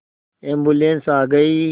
ambulance आ गई